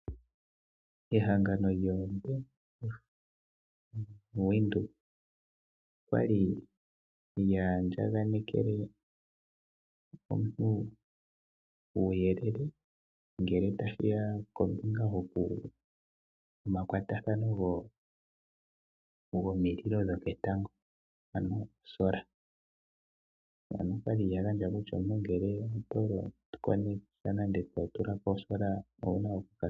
Ehangano lyoBank Windhoek okwali lya andjakaneke omuntu uuyelele ngele tashiya kombinga yomakwatathano gomililo dho petango ano o'solar'. Na okwali lya gandja kutya omuntu ngele owali kwatakanitha nenge wa tulako o'solar'.